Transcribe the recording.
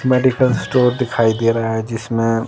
medical store दिखाई दे रहा है जिसमें--